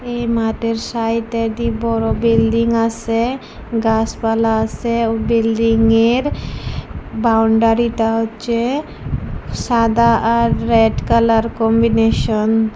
এই মাঠের সাইড -এ দি বড় বিল্ডিং আসে গাসপালা আসে ও বিল্ডিং এর বাউন্ডারি টা হচ্ছে সাদা আর রেড কালার কম্বিনেশন ।